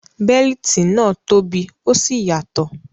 Bẹ́líìtì náà tóbi ó sì yàtọ̀.